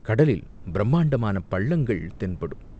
கடலில் பிரம்மாண்டமான பள்ளங்கள் தென்படும்.